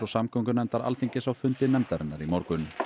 samgöngunefndar Alþingis á fundi nefndarinnar í morgun